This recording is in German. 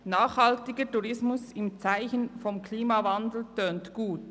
Nachhaltiger Tourismus im Zeichen des Klimawandels tönt gut.